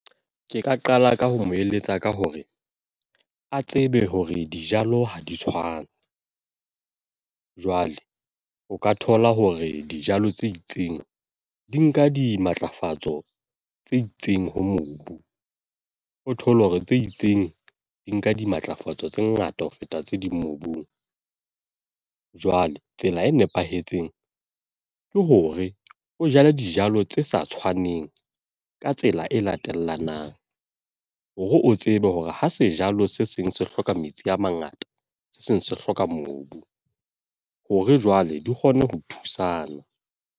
Ke ka qala ka ho mo eletsa ka hore, a tsebe hore dijalo ha di tshwane. Jwale o ka thola hore dijalo tse itseng, di nka dimatlafatso tse itseng ho mobu. O thole hore tse itseng, di nka dimatlafatso tse ngata ho feta tse ding mobung. Jwale tsela e nepahetseng, ke hore o jale dijalo tse sa tshwaneng ka tsela e latellanang. Hore o tsebe hore ha sejalo se seng se hloka metsi a mangata, se seng se hloka mobu. Hore jwale di kgone ho thusana.